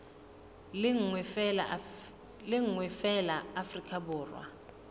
le nngwe feela afrika borwa